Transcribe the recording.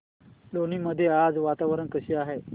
लोणी मध्ये आज वातावरण कसे आहे